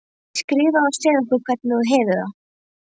Skrifaðu og segðu okkur hvernig þú hefur það.